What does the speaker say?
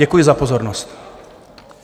Děkuji za pozornost.